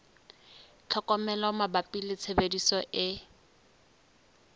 tlhokomelo mabapi le tshebediso e